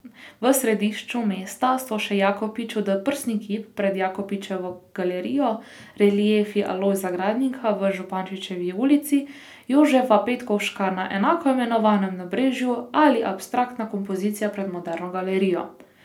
V središču mesta so še Jakopičev doprsni kip pred Jakopičevo galerijo, reliefi Alojza Gradnika v Župančičevi ulici, Jožefa Petkovška na enako imenovanem nabrežju ali abstraktna kompozicija pred Moderno galerijo.